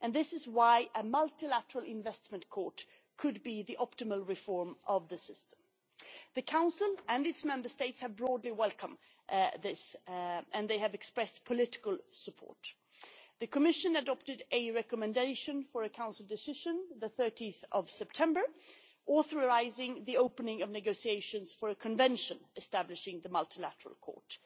This is why a Multilateral Investment Court could be the optimal reform of the system. The Council and its Member States have broadly welcomed this and they have expressed political support. The Commission adopted a recommendation for a Council Decision on 13 September, authorising the opening of negotiations for a Convention establishing the Multilateral Court.